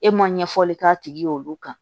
E ma ɲɛfɔli k'a tigi ye olu kan